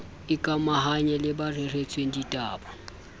ikamahanya le ba reretsweng ditaba